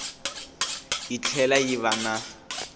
yi tlhela yi va na